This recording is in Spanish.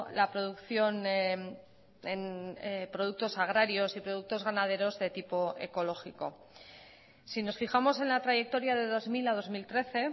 la producción en productos agrarios y productos ganaderos de tipo ecológico si nos fijamos en la trayectoria de dos mil a dos mil trece